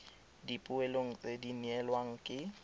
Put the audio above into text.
dipoelong tse di neelwang ke